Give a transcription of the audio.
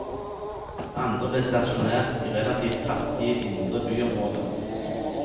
Andre ble stasjonert i relativt fattige, indre byområder.